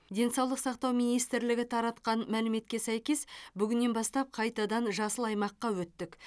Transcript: денсаулық сақтау министрлігі таратқан мәліметке сәйкес бүгінен бастап қайтадан жасыл аймаққа өттік